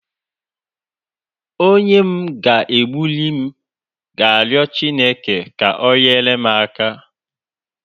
Onye m ga-egbuli m ga rio Chineke ka o nyere m aka.